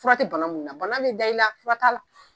Fura tɛ bana mun na, bana bɛ da i la fura t'ala.